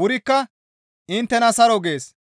wurikka inttena saro gees.